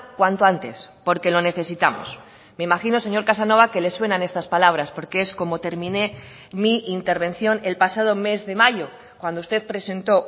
cuanto antes porque lo necesitamos me imagino señor casanova que le suenan estas palabras porque es como terminé mi intervención el pasado mes de mayo cuando usted presentó